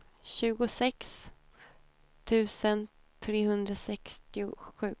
tjugosex tusen trehundrasextiosju